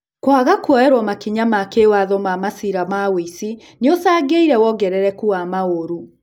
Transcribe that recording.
Kwaga kuoerwo makinya ma kĩwatho ma maciira ma wũici nĩgũcangĩire wongerereku wa maũru.